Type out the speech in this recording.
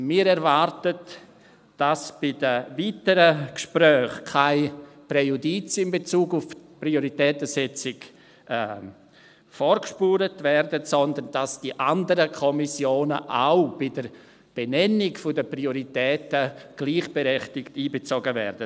Wir erwarten, dass bei den weiteren Gesprächen keine Präjudizien in Bezug auf die Prioritätensetzung vorgespurt werden, sondern dass die anderen Kommissionen auch bei der Benennung der Prioritäten gleichberechtigt einbezogen werden.